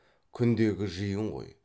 күндегі жиын ғой